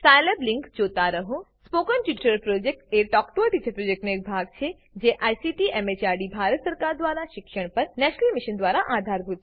Scilab link જોતા રહો spoken tutorial project એ ટોક ટુ અ ટીચર પ્રોજેક્ટનો એક ભાગ છે જે આઈસીટી દ્વારા શિક્ષણ પર નેશનલ મિશન દ્વારા આધારભૂત છે